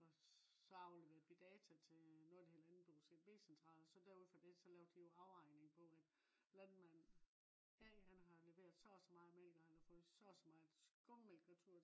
og så afleverede vi data til øh noget der hedder landbrugets edb central også derud fra det så lavede de jo afregning på at landmand A har leveret så og så meget mælk og han har fået så og så meget skummemælk retur